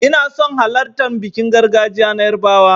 Ina son halartan bikin gargajiya na yarbawa.